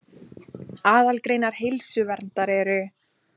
Aðalgreinar heilsuverndar eru